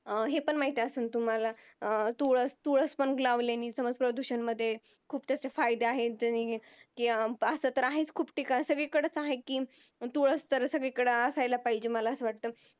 अह हे पण माहिती असेल तुम्हाला अं तुळस तुळस पण लावण्याने प्रदूषणमध्ये खूप त्याचे फायदा आहे कि असा तर आहेच खूप ठिकाणी तुळस तर सगळीकडे असायलाच पाहिजेत असं वाटत